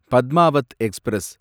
Padmaavat express